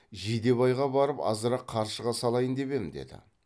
жидебайға барып азырақ қаршыға салайын деп ем деді